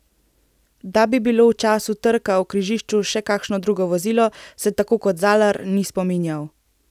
Da bi bilo v času trka v križišču še kakšno drugo vozilo, se tako kot Zalar, ni spominjal.